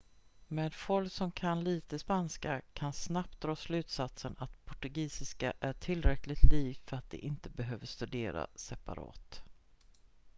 men folk som kan lite spanska kan snabbt dra slutsatsen att portugisiska är tillräckligt likt för att det inte behöver studeras separat